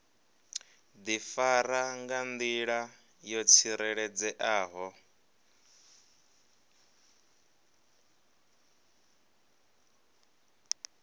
difara nga ndila yo tsireledzeaho